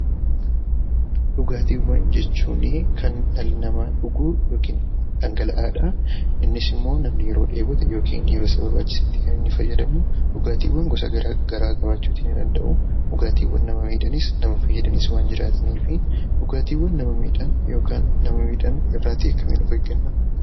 Dhugaatiiwwan jechuun kan dhalli namaa dhugu yookiin dhangala'aadha. Innis immoo namni yeroo dheebote yookaan yeroo isa barbaachisetti kan inni fayyadamuu. Dhugaatiiwwan gosa garaagaraa ta'uu ni danda'u. Dhugaatiiwwan nama miidhanis nama fayyadanis waan jiraataniif dhugaatiiwwan nama miidhan yookiin nama fayyadan kan nama miidhan irraa of eeggachuudha.